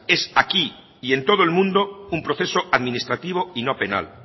es aquí y en todo el mundo un proceso administrativo y no penal